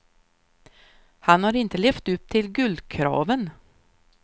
Han har inte levt upp till guldkraven.